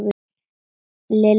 Lilla hikaði.